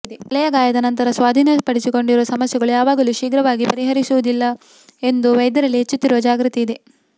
ತಲೆಯ ಗಾಯದ ನಂತರ ಸ್ವಾಧೀನಪಡಿಸಿಕೊಂಡಿರುವ ಸಮಸ್ಯೆಗಳು ಯಾವಾಗಲೂ ಶೀಘ್ರವಾಗಿ ಪರಿಹರಿಸುವುದಿಲ್ಲ ಎಂದು ವೈದ್ಯರಲ್ಲಿ ಹೆಚ್ಚುತ್ತಿರುವ ಜಾಗೃತಿ ಇದೆ